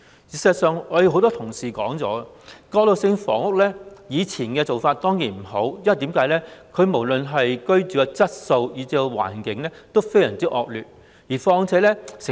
事實上，很多同事提到，以前的過渡性房屋的確不好，無論是居住質素或環境都非常惡劣。